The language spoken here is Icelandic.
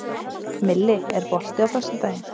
Milli, er bolti á föstudaginn?